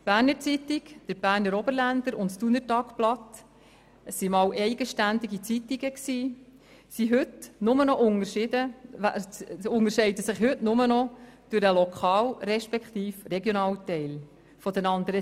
«Berner Zeitung», «Berner Oberländer» und «Thuner Tagblatt», einst eigenständige Zeitungen, unterscheiden sich heute nur noch durch den Lokal- bzw. Regionalteil voneinander.